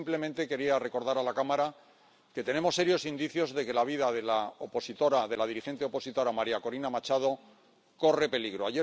Y, simplemente, quería recordar a la Cámara que tenemos serios indicios de que la vida de la dirigente opositora María Corina Machado corre peligro.